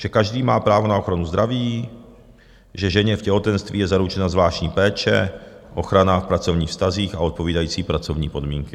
Že každý má právo na ochranu zdraví, že ženě v těhotenství je zaručena zvláštní péče, ochrana v pracovních vztazích a odpovídající pracovní podmínky.